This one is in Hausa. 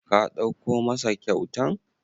Ka ɗauko masa kyautan?